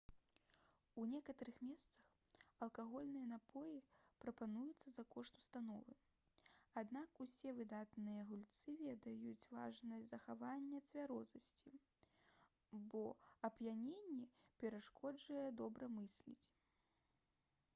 у некаторых месцах алкагольныя напоі прапаноўваюцца за кошт установы аднак усе выдатныя гульцы ведаюць важнасць захавання цвярозасці бо ап'яненне перашкаджае добра мысліць